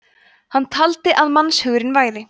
hann taldi að mannshugurinn væri